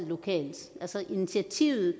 lokalt altså initiativet